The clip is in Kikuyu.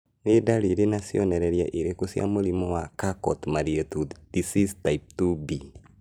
Nĩ ndariri na cionereria irĩkũ cia mũrimũ wa Charcot Marie Tooth disease type 2B?